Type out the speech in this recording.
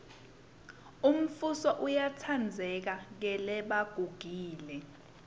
umfuso uyatsandzeka kelebagugile